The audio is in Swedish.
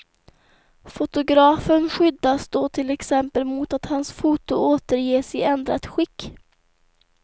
Fotografen skyddas då till exempel mot att hans foto återges i ändrat skick.